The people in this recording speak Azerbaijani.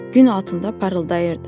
Gün altında parıldayırdı.